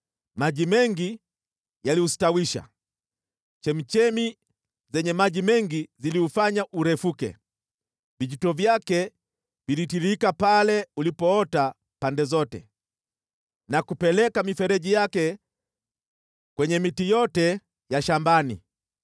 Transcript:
Maji mengi yaliustawisha, chemchemi zenye maji mengi ziliufanya urefuke; vijito vyake vilitiririka pale ulipoota pande zote na kupeleka mifereji yake kwenye miti yote ya shambani.